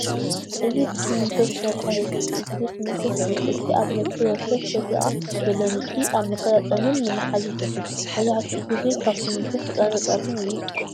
እዚ ብስሚንቶ ዝተሰርሐ መብዛሕትኡ ግዜ ስሚንቶ ኮይኑ ።እቲ ኣብ ነፍሲ ወከፍ ሰደቓ ዘሎ ንድፊ ኣብ መገጣጠምን ንምሓዝን ይሕግዝ። መብዛሕትኡ ግዜ ካብ ስሚንቶን ሑፃን ፀፀርን እዩ ዝስራሕ ።